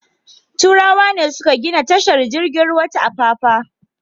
Turawa ne suka gina tashar jirgin ruwa ta Apapa.